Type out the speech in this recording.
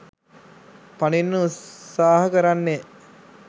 පනින්න උත්සහ කරන්නේ